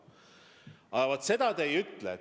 Aga vaat seda te ei ütle.